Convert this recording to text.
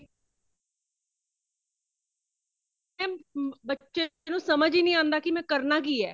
ਏ ਬੱਚੇ ਨੂੰ ਸੱਮਝ ਹੀ ਨਹੀਂ ਅਉਂਦਾ ਕੀ ਮੈ ਕਰਨਾ ਕੀ ਹੈ |